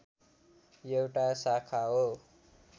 एउटा शाखा हो